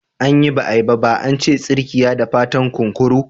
Anyi ba’a yi ba ba ance tsirkiyada fatan kunkuru.